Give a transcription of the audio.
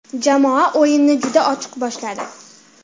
Jamoa o‘yinni juda ochiq boshladi.